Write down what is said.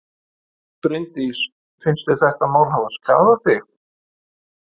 Bryndís: Finnst þér þetta mál hafa skaðað þig?